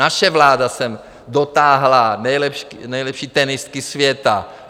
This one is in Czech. Naše vláda sem dotáhla nejlepší tenistky světa.